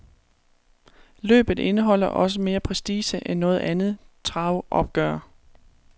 Løbet indeholder også mere prestige end noget andet travopgør.